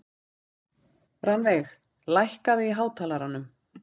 Rannveig, lækkaðu í hátalaranum.